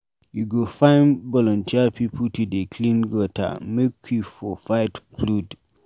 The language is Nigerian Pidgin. We go find voluteer pipu to dey clean gutter make we for fight flood.